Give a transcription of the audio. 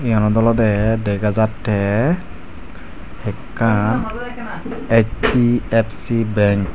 te yanot olode dega jatte ekkan H_D_F_C bank.